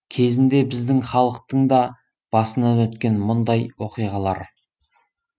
кезінде біздің халықтың да басынан өткен мұндай оқиғалар